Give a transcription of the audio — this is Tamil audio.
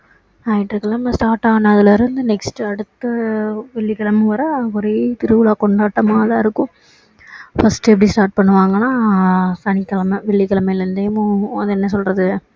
ஞாயிற்றுக்கிழமை start ஆனதுல இருந்து next அடுத்து வெள்ளிக்கிழமை வர ஒரே திருவிழா கொண்டாட்டமா தான் இருக்கும் first எப்படி start பண்ணுவாங்கன்னா சனிக்கிழமை வெள்ளிக்க்கிழமைலருந்தே ஹம் என்ன சொல்றது